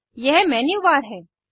यह मेन्यूबार है